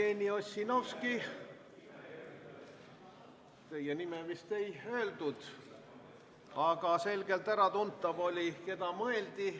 Jevgeni Ossinovski, teie nime vist ei öeldud, aga oli selgelt äratuntav, keda mõeldi.